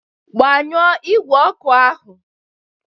Gbanyụọ igwe oku ahu.